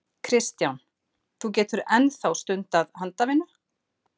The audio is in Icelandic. Kristján: Þú getur enn þá stundað handavinnu?